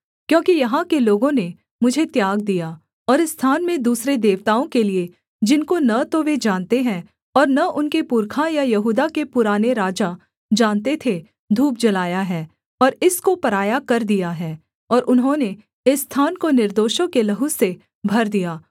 क्योंकि यहाँ के लोगों ने मुझे त्याग दिया और इस स्थान में दूसरे देवताओं के लिये जिनको न तो वे जानते हैं और न उनके पुरखा या यहूदा के पुराने राजा जानते थे धूप जलाया है और इसको पराया कर दिया है और उन्होंने इस स्थान को निर्दोषों के लहू से भर दिया